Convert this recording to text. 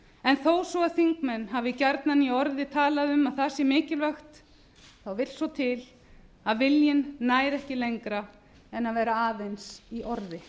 en þó svo þingmenn hafi gjarnan í orði talað um að það sé mikilvægt þá vill svo til að viljinn nær ekki lengra en vera aðeins í orði